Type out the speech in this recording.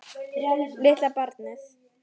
Litla barnið.